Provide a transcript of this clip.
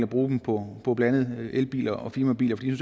bruge den på på blandt andet elbiler og firmabiler fordi de